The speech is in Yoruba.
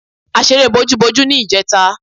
A ṣeré bojúbojú ní ìjẹta.